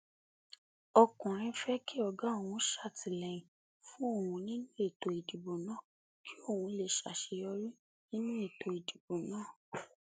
ọkùnrin fẹ kí ọgá òun ṣàtìlẹyìn fún òun nínú ètò ìdìbò náà kí òun lè ṣàṣeyọrí nínú ètò ìdìbò náà